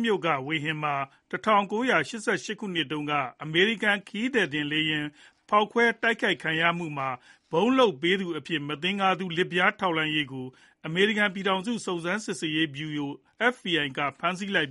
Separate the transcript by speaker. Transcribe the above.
Speaker 1: မြို့က ဝေဟင်မှာ ၁၉၈၈ ခုနှစ်တုန်းက အမေရိကန် ခရီးသည်တင် လေယာဉ် ဖောက်ခွဲတိုက်ခိုက်ခံရမှုမှာ ဗုံးလုပ်ပေးသူအဖြစ် မသင်္ကာသူ လစ်ဗျားထောက်လှမ်းရေးကို အမေရိကန် ပြည်ထောင်စု စုံစမ်းစစ်ဆေးရေးဗျုရို (FBI) က ဖမ်းဆီးလိုက်